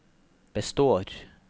består